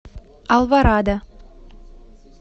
алворада